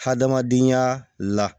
Hadamadenya la